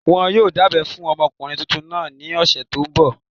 Wọn yóò dábẹ́ fún ọmọkùnrin tuntun náà ní ọ̀sẹ̀ tó n bọ̀